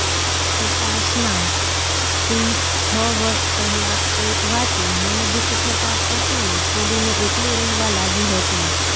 ઉપાસના સિંહ છ વર્ષ પહેલાં કોઈક વાતે મનદુઃખ થતાં પતિને છોડીને એકલી રહેવા લાગી હતી